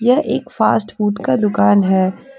यह एक fast food का दुकान है।